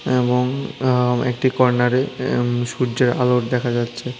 এবং আ একটি কর্নারে এম সূর্যের আলো দেখা যাচ্ছে।